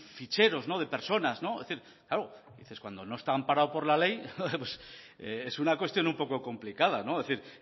ficheros de personas es decir claro cuando no está amparado por la ley es una cuestión un poco complicada es decir